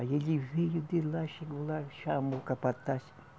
Aí ele veio de lá, chegou lá, chamou o capataz